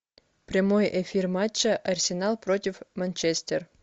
прямой эфир матча арсенал против манчестер